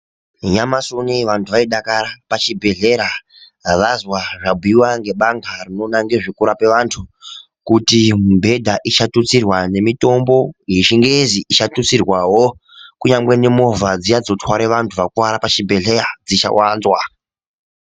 Nyamasi uneyi vantu vaidakara pachibhedhlera vazwa zvabhuiwa ngebandhla rinoona ngexvekurapa vantu kuti mibhedha ichatutsirwa nemitombo yechingezi ichatutsirwawo. Kunyangwe nemovha dziya dzinotwara vantu vakuvara pachibhedhleya, dzichawanzwa.